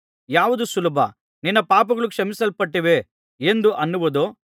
ಯಾವುದು ಸುಲಭ ನಿನ್ನ ಪಾಪಗಳು ಕ್ಷಮಿಸಲ್ಪಟ್ಟಿವೆ ಎಂದು ಅನ್ನುವುದೋ